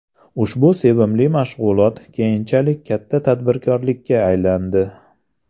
Ushbu sevimli mashg‘ulot keyinchalik katta tadbirkorlikka aylandi”.